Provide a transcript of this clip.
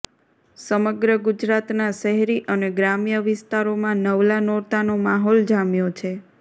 સમગ્ર ગુજરાતના શહેરી અને ગ્રામ્ય વિસ્તારોમાં નવલા નોરતાનો માહોલ જામ્યો છે